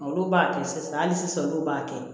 Olu b'a kɛ sisan hali sisan olu b'a kɛ